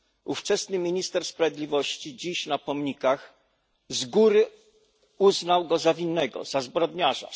Ówczesny minister sprawiedliwości, dziś na pomnikach, z góry uznał go za winnego, za zbrodniarza.